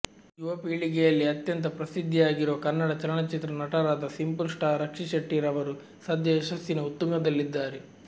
ಯುವ ಪೀಳಿಗೆಯಲ್ಲಿ ಅತ್ಯಂತ ಪ್ರಸಿದ್ದಿಯಾಗಿರುವ ಕನ್ನಡ ಚಲನಚಿತ್ರ ನಟರಾದ ಸಿಂಪಲ್ ಸ್ಟಾರ್ ರಕ್ಷಿತ್ ಶೆಟ್ಟಿ ರವರು ಸದ್ಯ ಯಶಸ್ಸಿನ ಉತ್ತುಂಗದಲ್ಲಿದ್ದಾರೆ